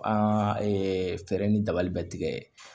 An fɛɛrɛ ni dabali bɛ tigɛ